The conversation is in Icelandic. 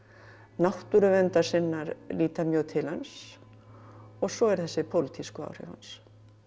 náttúruverndarsinnar líta mjög til hans og svo eru þessi pólitísku áhrif hans